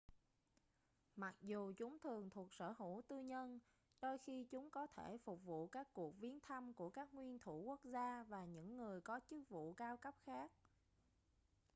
mặc dù chúng thường thuộc sở hữu tư nhân đôi khi chúng có thể phục vụ các cuộc viếng thăm của các nguyên thủ quốc gia và những người có chức vụ cao cấp khác